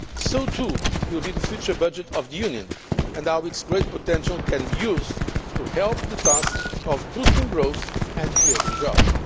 So too will be the future budget of the Union, and how its great potential can be used to help the task of boosting growth and creating jobs.